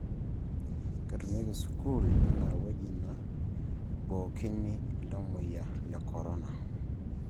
Keitumiaki sukul enaa ewueji naibookini iltamuoyia le Corona